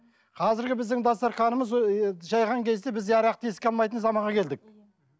қазіргі біздің дастарханымыз жайған кезде біз арақты еске алмайтын заманға келдік